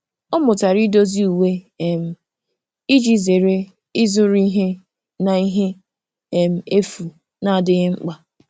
Ọ mụtara idozi uwe um iji zere ịzụrụ ihe na ihe um efu na-adịghị mkpa.